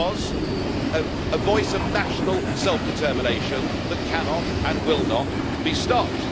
It was a voice of national self determination that cannot, and will not, be stopped.